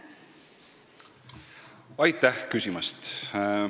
Aitäh küsimast!